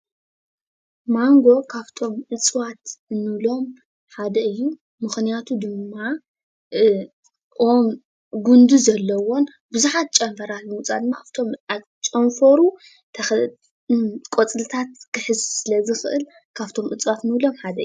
ማንጎ ካብቶም እፅዋት እንብሎም ሓደ እዩ፡፡ ምክንያቱ ድማ ጉንዲ ዘለዎን ብዙሓት ጨንፈራት ብምውፃእ ድማ ኣብቶም ኣብ ጨንፈሩ ቆፅልታት ክሕዝ ስለ ዝክእል ካብቶም እፅዋት እንብሎም ሓደ እዩ፡፡